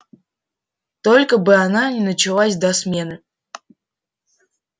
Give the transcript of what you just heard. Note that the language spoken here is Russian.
только бы она не началась до смены